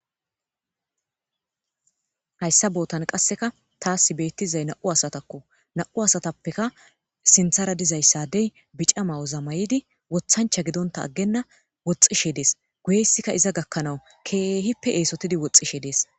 hayssa bootan qasseka taas beettizay na7u asatakko na7u asatappeka sinthara dizayssadey bica mayoza mayidi wozamayidi wothancha gidonta aggenna woxxishe dees guyeyssika iza gakkanawu keehippe eesotidi woxxishe dees